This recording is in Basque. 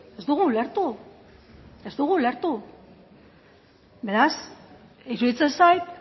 ez dugu ulertu ez dugu ulertu beraz iruditzen zait